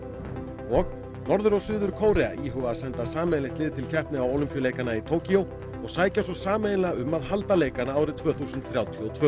og Norður og Suður Kórea íhuga að senda sameiginlegt lið til keppni á Ólympíuleikana í Tókýó og sækja svo sameiginlega um að halda leikana árið tvö þúsund þrjátíu og tvö